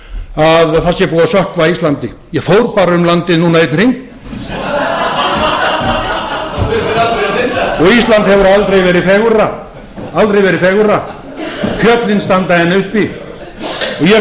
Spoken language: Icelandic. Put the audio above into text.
það sé búið að sökkva íslandi ég fór bara um landið núna einn hring og ísland hefur aldrei verið fegurra fjöllin standa enn uppi ég sá tvö